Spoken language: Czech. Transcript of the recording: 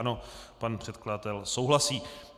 Ano, pan předkladatel souhlasí.